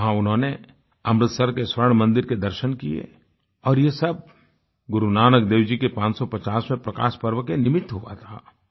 वहां उन्होंने अमृतसर के स्वर्ण मंदिर के दर्शन किये और ये सब गुरुनानक देव जी के 550वें प्रकाशपर्व के निमित्त हुआ था